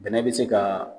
Bɛnɛ bɛ se ka